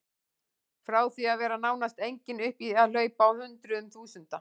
Frá því að vera nánast engin upp í að hlaupa á hundruðum þúsunda.